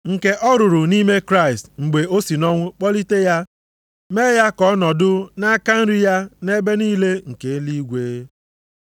Nke ọ rụrụ nʼime Kraịst mgbe o si nʼọnwụ kpọlite ya mee ya ka ọ nọdụ nʼaka nri ya nʼebe niile nke eluigwe.